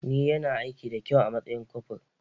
Ni yana aiki da kyau a matsayin kofur